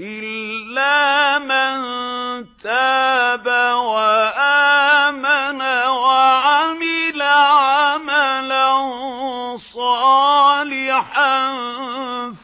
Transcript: إِلَّا مَن تَابَ وَآمَنَ وَعَمِلَ عَمَلًا صَالِحًا